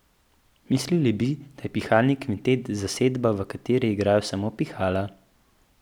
Mislili bi, da je pihalni kvintet zasedba, v kateri igrajo samo pihala.